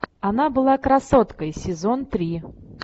она была красоткой сезон три